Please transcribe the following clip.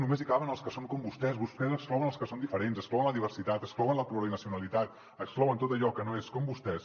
només hi caben els que són com vostès vostès exclouen els que són diferents exclouen la diversitat exclouen la plurinacionalitat exclouen tot allò que no és com vostès